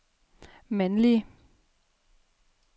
mandlige